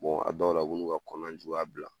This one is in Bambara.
a dɔw la o b'o n'u ka kɔnɔna juguya bila